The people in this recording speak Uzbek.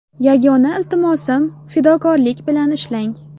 Yagona iltimosim fidokorlik bilan ishlang!